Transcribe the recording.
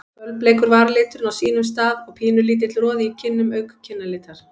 Fölbleikur varaliturinn á sínum stað og pínulítill roði í kinnum auk kinnalitar.